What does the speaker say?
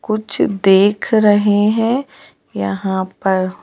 कुछ देख रहे है यहां पर--